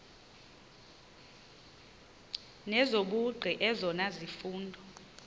nezobugqi ezona zifundo